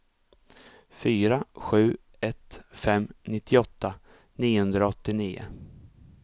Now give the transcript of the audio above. fyra sju ett fem nittioåtta niohundraåttionio